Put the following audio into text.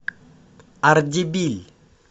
ардебиль